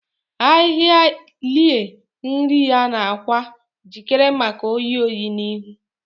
Ahịhịa lie nri ya n’akwa, jikere maka oyi oyi n’ihu.